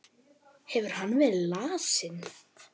Hefur hann verið lasinn?